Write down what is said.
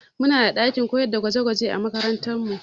Mu na da ɗakin koyar da gwaje gwaje a makarantar mu